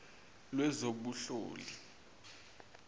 lwezobunhloli